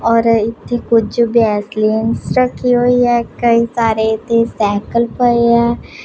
ਔਰ ਇਥੇ ਕੁਝ ਵੈਸਲੀਨਸ ਰੱਖੀ ਹੋਈ ਹ ਕਈ ਸਾਰੇ ਤੇ ਸਾਈਕਲ ਪਏ ਆ।